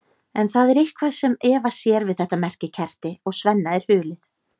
En það er eitthvað sem Eva sér við þetta merkikerti og Svenna er hulið.